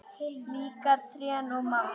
Líka trén og mamma.